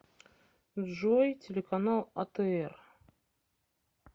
джой телеканал а тэ эр